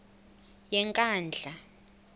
yenkandla